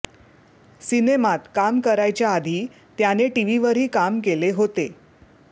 सिनेमात काम करायच्या आधी त्याने टीव्हीवरही काम केले होते